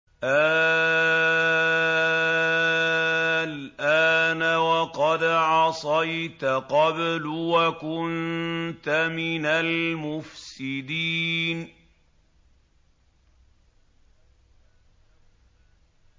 آلْآنَ وَقَدْ عَصَيْتَ قَبْلُ وَكُنتَ مِنَ الْمُفْسِدِينَ